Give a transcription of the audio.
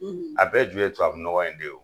. A bɛɛ ju ye tubabu nɔgɔ in de ye.